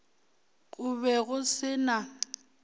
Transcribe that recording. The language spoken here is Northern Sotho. go be go se na